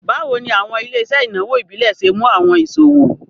Bawo ni awọn ile-iṣẹ inawo ibile ṣe mu awọn iṣowo?